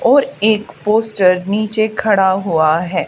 और एक पोस्टर नीचे खड़ा हुआ है।